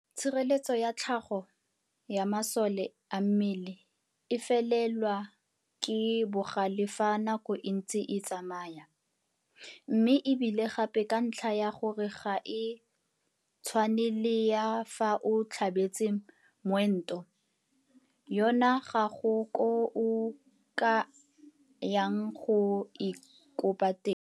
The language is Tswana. Tshireletso ya tlhago ya masole a mmele e felelwa ke bogale fa nako e ntse e tsamaya, mme e bile gape ka ntlha ya gore ga e tshwane le ya fa o tlhabetse moento, yona ga go koo o ka yang go e kopa teng.